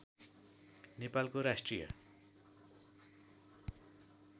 नेपालको राष्ट्रिय